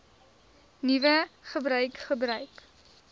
nuwe gebruik gebruik